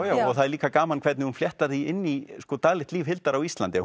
já og það er líka gaman hvernig hann fléttar því inn í daglegt líf Hildar á Íslandi